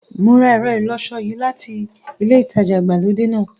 Mo ra ẹ̀rọ ìlọṣọ yìí láti ilẹ ìtajà ìgbàlódé náà.